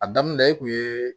A daminɛ e kun ye